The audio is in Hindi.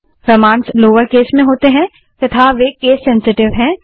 कमांड्स लोअर केस में होती हैं तथा वे केस सेंसिटिव हैं